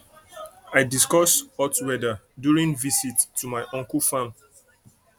i discuss hot weather during visit to my uncle farm